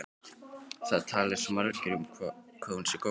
Það tali svo margir um hvað hún sé góð.